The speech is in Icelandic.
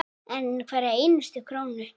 Hverja einustu krónu.